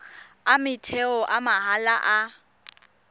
a motheo a mahala a